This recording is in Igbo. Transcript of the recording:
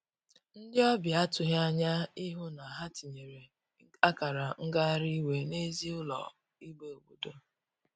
Ndi ọbia atughi anya ịhụ na ha itiyere akara ngahari iwe n'ezi ụlọ igbe obodo.